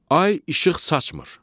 Ay işıq saçmır.